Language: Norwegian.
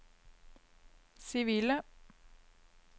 sivile